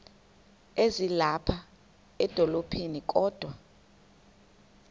ezilapha edolophini kodwa